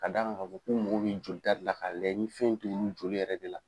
A gan ŋa ka fɔ k'u mogo be jolita de la k'a layɛ ni fɛn in t'olu joli yɛrɛ de la.